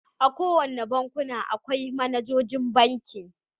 A kowane bankuna, akwai managoji banki.